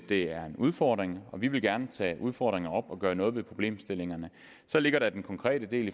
det er en udfordring og vi vil gerne tage udfordringer op og gøre noget ved problemerne så ligger der den konkrete del